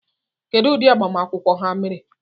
Kedụ ụdị agbamakwụkwọ ha mere?